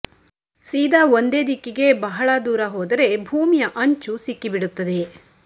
ಸೀದಾ ಒಂದೇ ದಿಕ್ಕಿಗೆ ಬಹಳ ದೂರ ಹೋದರೆ ಭೂಮಿಯ ಅಂಚು ಸಿಕ್ಕಿಬಿಡುತ್ತದೆ